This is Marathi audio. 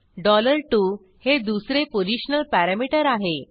2 हे दुसरे पोशनल पॅरामीटर आहे